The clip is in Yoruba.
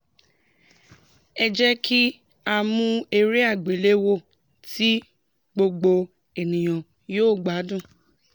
ẹ jẹ́ kí a mú eré àgbéléwò tí gbogbo ènìyàn yóò gbádùn